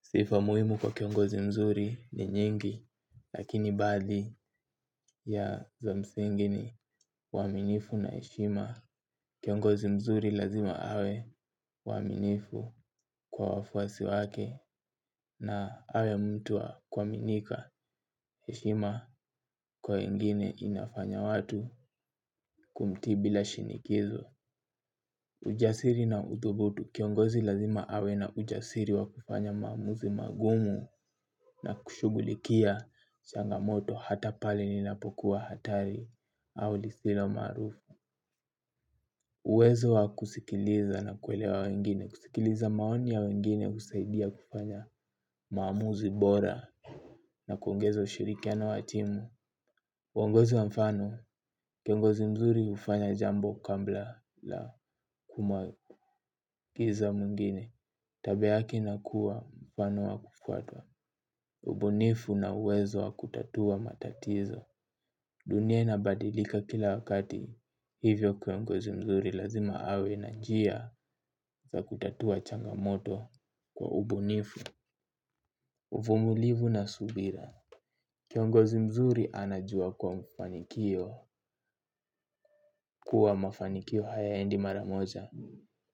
Sifa muhimu kwa kiongozi mzuri ni nyingi lakini baadhi za msingi ni uaminifu na heshima. Kiongozi mzuri lazima awe mwaminifu kwa wafuasi wake na awe mtuwl wa kuaminika heshima kwa wengine inafanya watu kumtii bila shinikizo. Ujasiri na uthubutu kiongozi lazima awe na ujasiri wa kufanya maamuzi magumu na kushughulikia changamoto hata pale ninapokuwa hatari au lisilo maarufu. Uwezo wa kusikiliza na kuelewa wengine kusikiliza maoni ya wengine husaidia kufanya maamuzi bora na kuongeza ushirikiano wa timu uongozi wa mfano, kiongozi mzuri hufanya jambo kabla la kumwakiza mwingine. Tabia yeke inakuwa mfano wa kufuatwa, ubunifu na uwezo wa kutatua matatizo. Dunia inabadilika kila wakati, hivyo kiongozi mzuri lazima awe na njia za kutatua changamoto kwa ubunifu, uvumulivu na subira. Kiongozi mzuri anajua kuwa mfanikio kuwa mafanikio hayaendi maramoja.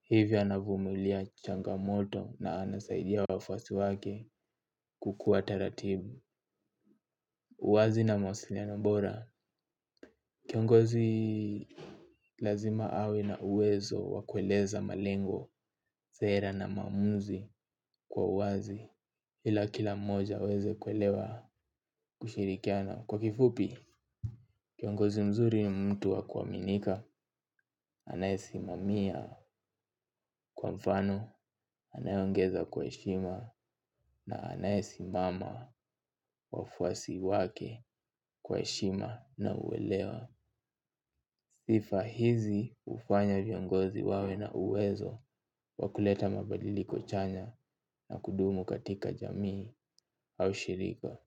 Hivyo anavumilia changamoto na anasaidia wafuasi wake kukuwa taratibu. Uwazi na mawasiliano bora. Kiongozi lazima awe na uwezo wa kueleza malengo, sera na maamuzi kwa uwazi. Ila kila mmoja aweze kuelewa kushirikiana. Kwa kifupi, kiongozi mzuri ni mtu wa kuaminika. Anayesimamia kwa mfano anayeongea kwa heshima na anayesimama wafuasi wake kwa heshima na uwelewa. Sifa hizi ufanya viongozi wawe na uwezo wa kuleta mabadiliko chanya na kudumu katika jamii au shirika.